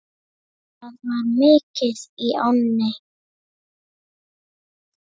Það var mikið í ánni.